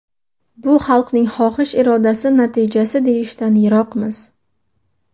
Bu xalqning xohish-irodasi natijasi deyishdan yiroqmiz.